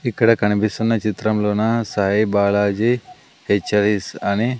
ఇక్కడ కనిపిస్తున్న చిత్రంలోన సాయిబాలాజి హెచ్ ఐస్ అని--